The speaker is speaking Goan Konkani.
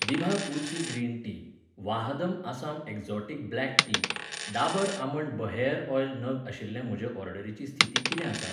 दिभा Tulsi green tea, Vahdam Assam exotic black tea, Dabur almond hair oil नग आशिल्ले म्हजे ऑर्डरीची स्थिती कितें आसा?